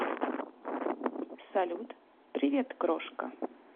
салют привет крошка